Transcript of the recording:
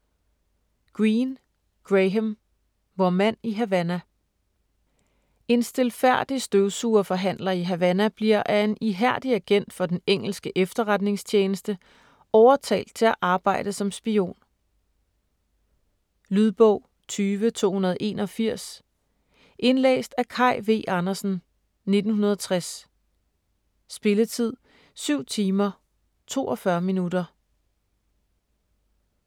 Greene, Graham: Vor mand i Havana En stilfærdig støvsugerforhandler i Havana bliver af en ihærdig agent for den engelske efterretningstjeneste overtalt til at arbejde som spion. Lydbog 20281 Indlæst af Kaj V. Andersen, 1960. Spilletid: 7 timer, 42 minutter.